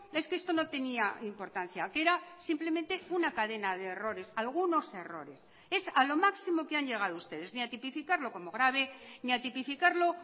es que esto no tenía importancia que era simplemente una cadena de errores algunos errores es a lo máximo que han llegado ustedes ni a tipificarlo como grave ni a tipificarlo